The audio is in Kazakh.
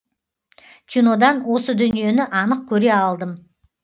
кинодан осы дүниені анық көре алдым